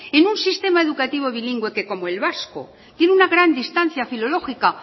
en un sistema educativo bilingüe que como el vasco tiene una gran distancia filológica